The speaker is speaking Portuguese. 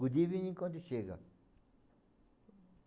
Good evening quando chega.